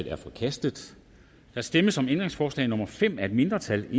er forkastet der stemmes om ændringsforslag nummer fem af et mindretal